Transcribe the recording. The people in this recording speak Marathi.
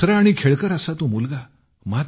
हसरा आणि खेळकर असा तो मुलगा